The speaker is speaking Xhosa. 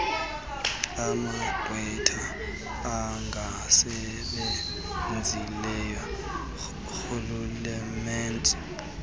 amagqwetha angasebenzeli rhulumente